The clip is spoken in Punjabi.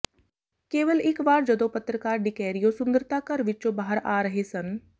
ਕੇਵਲ ਇਕ ਵਾਰ ਜਦੋਂ ਪੱਤਰਕਾਰ ਡੀਕੈਰੀਓ ਸੁੰਦਰਤਾ ਘਰ ਵਿੱਚੋਂ ਬਾਹਰ ਆ ਰਹੇ ਸਨ